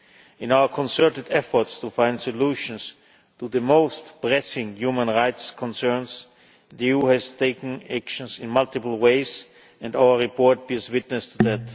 In our concerted efforts to find solutions to the most pressing human rights concerns, the EU has taken action in multiple ways, and our report bears witness to that.